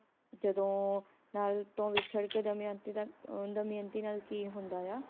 ਜਦੋ ਨਲ ਤੋਂ ਵਿਛੜ ਕੇ ਦਮਿਅੰਤੀ ਦਾ ਅਹ ਦਮਿਅੰਤੀ ਨਾਲ ਕੀ ਹੁੰਦਾ ਆ